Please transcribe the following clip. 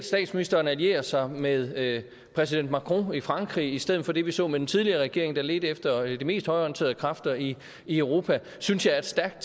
statsministeren allierer sig med præsident macron i frankrig i stedet for det vi så den tidligere regering gøre lede efter de mest højreorienterede kræfter i i europa det synes jeg er et stærkt